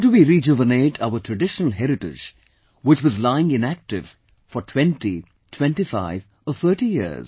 How do we rejuvenate our traditional heritage which was lying inactive for 20, 25 or 30 years